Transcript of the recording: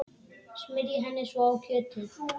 Smyrjið henni svo á kjötið.